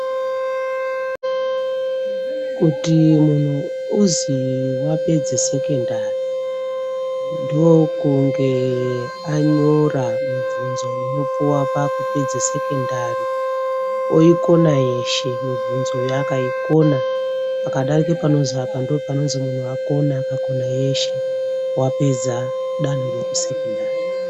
Kuti munthu uzi wapedza sekendari ndokunge anyora mibvunzo inopuwa pakupedze sekendari oikona yeshe mibvunzoyo akaikona akadarike panozi apa munthu wakona yeshe wapedza danho rekusekondari.